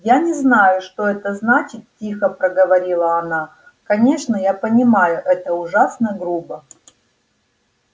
я не знаю что это значит тихо проговорила она конечно я понимаю это ужасно грубо